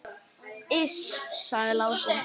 Iss, sagði Lási.